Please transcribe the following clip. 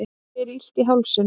mér er illt í hálsinum